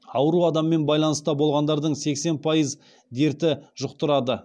ауру адаммен байланыста болғандардың сексен пайыз дерті жұқтырады